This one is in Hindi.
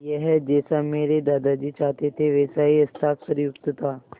यह जैसा मेरे दादाजी चाहते थे वैसा ही हस्ताक्षरयुक्त था